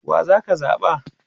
wa zaka zaɓa?